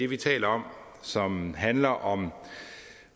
vi taler om som handler om